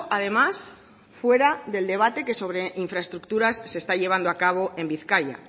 además fuera del debate que sobre infraestructuras se está llevando a cabo en bizkaia